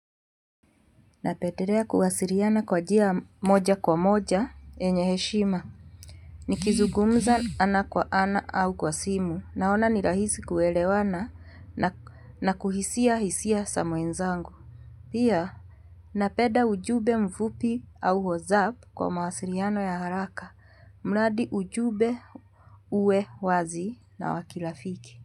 Napendelea kuwasiliana kwa njia moja kwa moja yenye heshima. Nikizugumza ana kwa ana au kwa simu. Naona ni rahisi kuelewana na kuhisia hisia za mwenzangu. Pia, napenda ujumbe mfupi au wazapu kwa mawasiliano ya haraka. Mradi ujumbe uwe wazi na wa kirafiki.